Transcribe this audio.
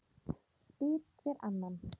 spyr hver annan.